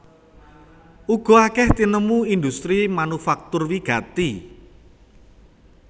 Uga akèh tinemu industri manufaktur wigati